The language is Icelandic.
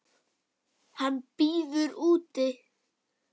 Hann bíður úti.